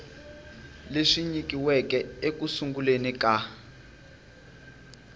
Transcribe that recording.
leswi nyikiweke eku sunguleni ka